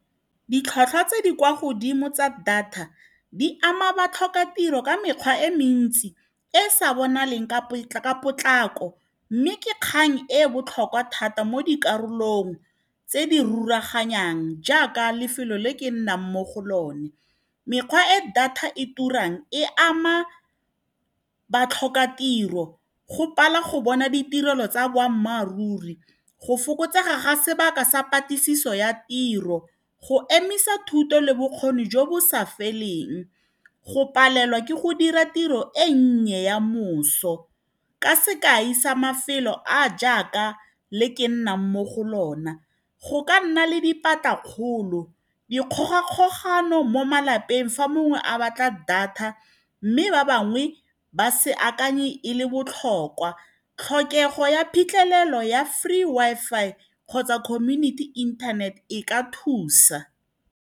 Ditlhwatlhwa tse di kwa godimo tsa data di ama batlhokatiro ka mekgwa e mentsi e sa bonaleng ka potlako, mme ke kgang e e botlhokwa thata mo dikarolong tse di rulaganyang jaaka lefelo le ke nnang mo go lone. Mekgwa e data e turang e ama batlhokatiro, go pala go bona ditirelo tsa boammaaruri, go fokotsega ga sebaka sa patlisiso ya tiro, go emisa thuto le bokgoni jo bo sa feleng, go palelwa ke go dira tiro e nnye ya moso. Ka sekai sa mafelo a a jaaka le ke nnang mo go lo na, go ka nna le dipatlakgolo, dikgogakgogano mo malapeng fa mongwe a batla data, mme ba bangwe ba se akanye e le botlhokwa. Tlhokego ya phitlhelelo ya free Wi-Fi kgotsa community internet e ka thusa.